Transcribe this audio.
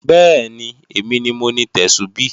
Bẹ́ẹ̀ni, èmi ni mo ni Tẹ́súbí